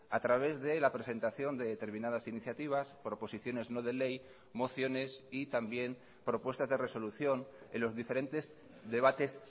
a través de la presentación de determinadas iniciativas proposiciones no de ley mociones y también propuestas de resolución en los diferentes debates